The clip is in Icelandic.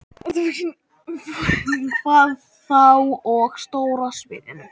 Hvað þá á stóra sviðinu?